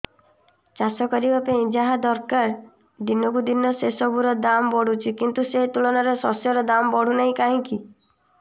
ଚାଷ କରିବା ପାଇଁ ଯାହା ଦରକାର ଦିନକୁ ଦିନ ସେସବୁ ର ଦାମ୍ ବଢୁଛି କିନ୍ତୁ ସେ ତୁଳନାରେ ଶସ୍ୟର ଦାମ୍ ବଢୁନାହିଁ କାହିଁକି